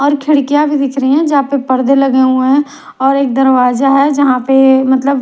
और खिड़कियां भी दिख रही हैं जहां पे पर्दे लगे हुए हैं और एक दरवाजा है जहां पे मतलब--